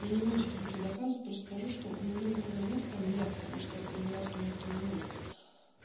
я не буду сейчас ничего доказывать просто скажу что у него никого нет кроме меня потому что ему нахрен никто не нужен